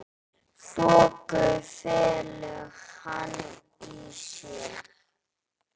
Þoku felur hann í sér.